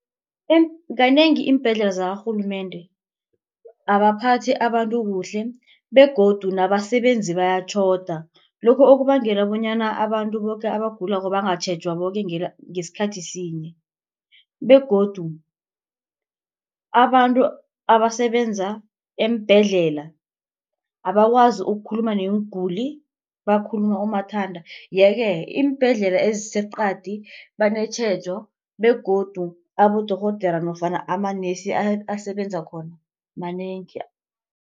Kanengi iimbhedlela zakarhulumende abaphathi abantu kuhle begodu nabasebenzi bayatjhoda. Lokhu okubangela bonyana abantu boke abagulako bangatjhejwa boke ngesikhathi sinye begodu abantu abasebenza eembhedlela abakwazi ukukhuluma neenguli bakhuluma umathanda. Yeke iimbhedlela eziseqadi banetjhejo begodu abodorhodera nofana amanesi asebenza khona manengi.